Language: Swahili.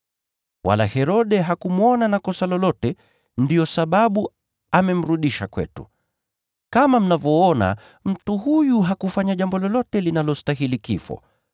Wala Herode hakumwona na kosa lolote, ndiyo sababu amemrudisha kwetu. Kama mnavyoona, mtu huyu hakufanya jambo lolote linalostahili kifo.